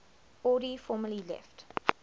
audi formally left